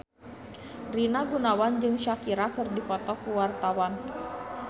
Rina Gunawan jeung Shakira keur dipoto ku wartawan